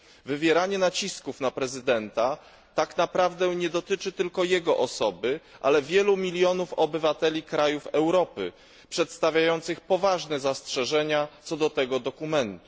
Wywieranie nacisków na prezydenta tak naprawdę nie dotyczy tylko jego osoby, ale wielu milionów obywateli krajów Europy przedstawiających poważne zastrzeżenia, co do tego dokumentu.